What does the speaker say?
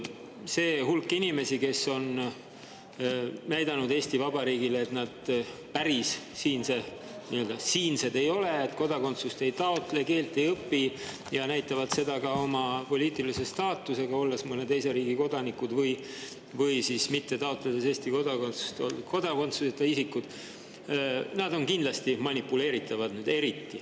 See hulk inimesi, kes on näidanud Eesti Vabariigile, et nad päris nii-öelda siinsed ei ole, kodakondsust ei taotle, keelt ei õpi, ja kes näitavad seda ka oma poliitilise staatusega, olles mõne teise riigi kodanikud või siis mitte taotledes Eesti kodakondsust ja olles kodakondsuseta isikud, on kindlasti eriti manipuleeritavad.